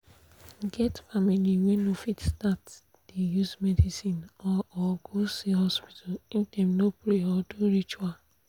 e get family wey no fit start dey use medicine or or go see doctor if dem no pray or do ritual.